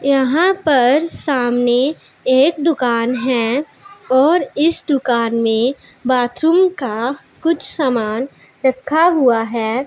यहां पर सामने एक दुकान है और इस दुकान में बाथरूम का कुछ समान रखा हुआ है।